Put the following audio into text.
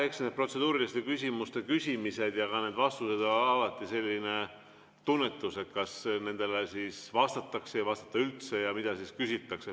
Eks need protseduuriliste küsimuste küsimised ja ka need vastused on alati selline tunnetus, et kas nendele vastatakse või ei vastata üldse ja mida siis küsitakse.